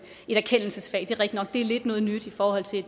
et erkendelsesfag det er rigtig nok det er lidt noget nyt i forhold til